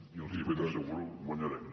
i els ho ben asseguro guanyarem